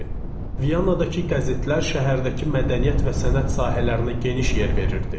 Viyanadakı qəzetlər şəhərdəki mədəniyyət və sənət sahələrinə geniş yer verirdi.